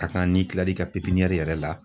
Ka kan n'i kilar'i ka yɛrɛ la